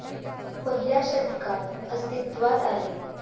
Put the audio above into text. पहिल्या शतकात अस्तित्वात आले.